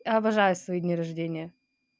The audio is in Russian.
обожаю свои дни рождения